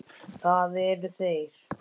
Það eru þeir.